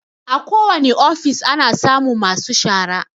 Akowane ofis ana samun masu shara.